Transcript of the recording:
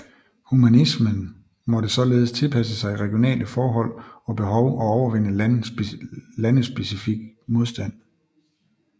Humanismen måtte således tilpasse sig regionale forhold og behov og overvinde landespecifik modstand